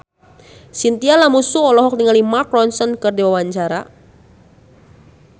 Chintya Lamusu olohok ningali Mark Ronson keur diwawancara